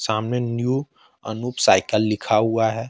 सामने new Anoop cycle लिखा हुआ है।